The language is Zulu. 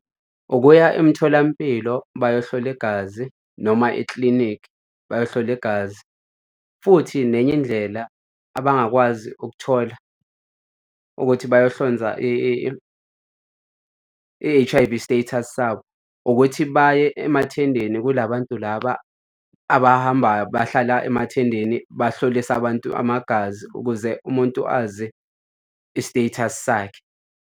Ukuya emtholampilo bayohlola igazi noma ekilinikhi bayohlola igazi. Futhi nenye indlela abangakwazi ukuthola ukuthi bayohlonza i-H_I_V status sabo ukuthi baye emathendeni kula bantu laba abahambayo bahlala emathendeni bahlollise abantu amagazi ukuze umuntu azi i-status sakhe.